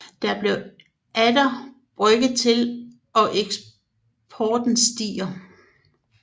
Der bliver atter brygget til og eksporten stiger